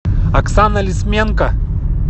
оксана лисменко